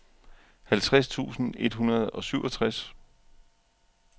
halvtreds tusind et hundrede og syvogtres